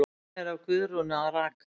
Myndin er af Guðrúnu að raka.